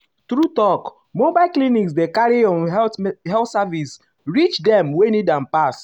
true talk um mobile clinics dey carry um health services reach dem wey need am pass.